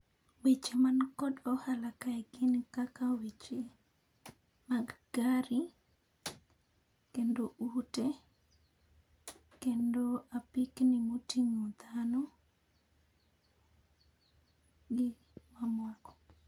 Weche man kod ohala kae gin kaka weche mag gari kendo kendo apikni motingo dhano gi mamoko.